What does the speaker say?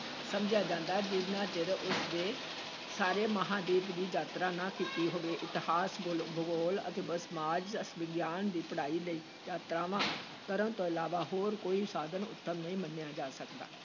ਸਮਝਿਆ ਜਾਂਦਾ, ਜਿੰਨਾ ਚਿਰ ਉਸ ਨੇ ਸਾਰੇ ਮਹਾਂਦੀਪ ਦੀ ਯਾਤਰਾ ਨਾ ਕੀਤੀ ਹੋਵੇ, ਇਤਿਹਾਸ, ਭੁਲ ਭੂਗੋਲ ਅਤੇ ਸਮਾਜ ਵਿਗਿਆਨ ਦੀ ਪੜ੍ਹਾਈ ਲਈ ਯਾਤਰਾਵਾਂ ਕਰਨ ਤੋਂ ਇਲਾਵਾ ਹੋਰ ਕੋਈ ਸਾਧਨ ਉੱਤਮ ਨਹੀਂ ਮੰਨਿਆ ਜਾ ਸਕਦਾ।